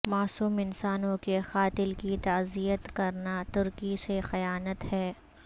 معصوم انسانوں کے قاتل کی تعزیت کرناترکی سے خیانت ہے